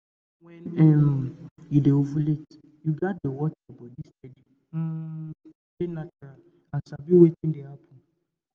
to know when um you dey ovulate you gats dey watch your body steady um to stay natural and sabi wetin dey happen.